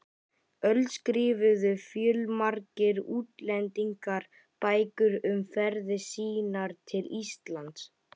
öld skrifuðu fjölmargir útlendingar bækur um ferðir sínar til Íslands.